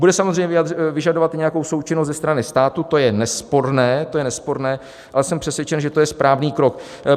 Bude samozřejmě vyžadovat i nějakou součinnost ze strany státu, to je nesporné, ale jsem přesvědčen, že to je správný krok.